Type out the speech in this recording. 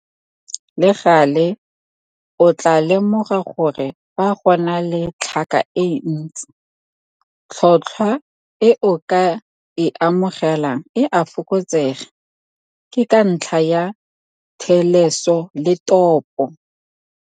Le gale, o tlaa lemoga gore fa go na le tlhaka e ntsi, tlhotlhwa e o ka e amogelang e a fokotsega - ke ntlha ya 'theleso le topo'.